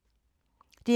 DR K